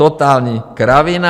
Totální kravina.